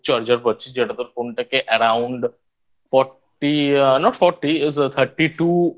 charger পাচ্ছিস যেটা তোর Phone টাকে Around Fourty Not Fourty Is A Thirty Two